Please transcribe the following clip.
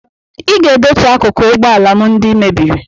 Ị ga-edochi akụkụ ụgbọ ala m ndị ị mebiri